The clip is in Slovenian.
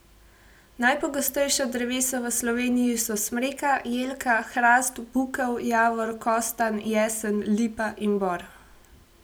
Najpogostejša drevesa v Sloveniji so smreka, jelka, hrast, bukev, javor, kostanj, jesen, lipa in bor.